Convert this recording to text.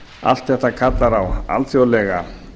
allt þetta kallar á alþjóðlega